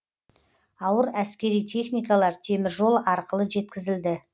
ауыр әскери техникалар теміржол арқылы жеткізілді